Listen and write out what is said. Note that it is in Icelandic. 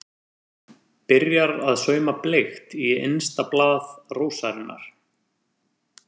Byrjar að sauma bleikt í innsta blað rósarinnar.